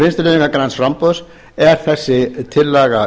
vinstri hreyfingarinnar græns framboðs er þessi tillaga